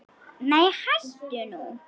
Nei hættu nú!